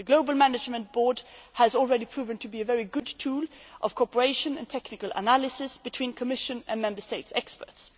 The global management board has already proven to be a very good tool of cooperation and technical analysis between the Commission and Member State experts.